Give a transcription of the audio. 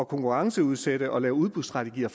konkurrenceudsætte og lave udbudsstrategier